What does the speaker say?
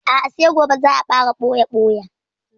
A'a sai gobe za a fara ɓoya-ɓoya.